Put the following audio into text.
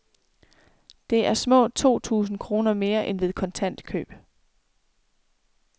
Det er små to tusind kroner mere end ved kontant køb.